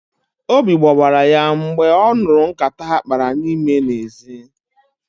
Obi gbawala ya mgbe ọ nụrụ nkata ha kpara n'ime n'ezi